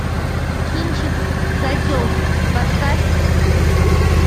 кинчик козел поставь